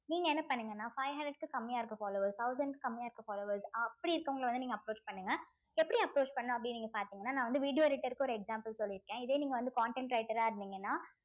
நீங்க என்ன பண்ணுங்கன்னா five hundred க்கு கம்மியா இருக்க followers thousand க்கு கம்மியா இருக்க followers அப்படி இருக்கவங்கள வந்து நீங்க approach பண்ணுங்க இப்ப எப்படி approach பண்ணணும் அப்படின்னு நீங்க பார்த்தீங்கன்னா நான் வந்து video editor க்கு ஒரு example சொல்லி இருக்கேன் இதே நீங்க வந்து content writer ஆ இருந்தீங்கன்னா